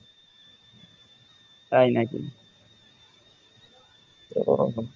ও